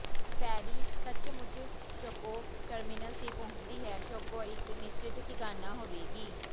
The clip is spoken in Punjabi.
ਫੈਰੀ ਸੱਚਮੁੱਚ ਸ਼ਕੌ ਟਰਮੀਨਲ ਤੇ ਪਹੁੰਚਦੀ ਹੈ ਸ਼ਕੌ ਇਕ ਨਿਸ਼ਚਤ ਟਿਕਾਣਾ ਹੋਵੇਗੀ